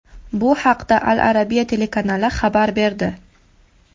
Bu haqda Al Arabiya telekanali xabar berdi.